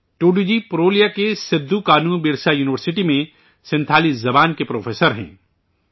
ٹوڈو جی ، پرولیا کی سدھوکانوبرسا یونیورسٹی میں سنتھالی زبان کے پروفیسر ہیں